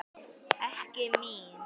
Ekki mín.